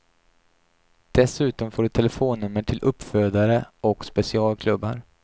Dessutom får du telefonnummer till uppfödare och specialklubbar.